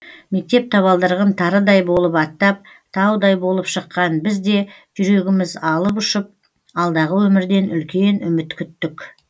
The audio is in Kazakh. мектеп табалдырығын тарыдай болып аттап таудай болып шыққан біз де жүрегіміз алып ұшып алдағы өмірден үлкен үміт күттік